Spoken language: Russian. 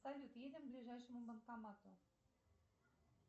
салют едем к ближайшему банкомату